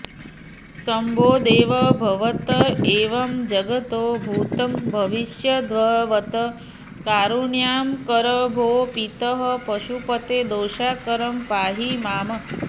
शम्भो देव भवत्त एव जगतो भूतं भविष्यद्भवत् कारुण्याकर भो पितः पशुपते दोषाकरं पाहि माम्